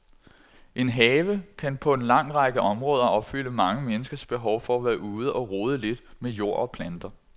En have kan på en lang række områder opfylde mange menneskers behov for at være ude og rode lidt med jord og planter.